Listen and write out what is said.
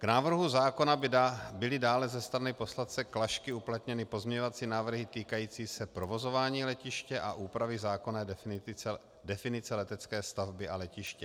K návrhu zákona byly dále ze strany poslance Klašky uplatněny pozměňovací návrhy týkající se provozování letiště a úpravy zákonné definice letecké stavby a letiště.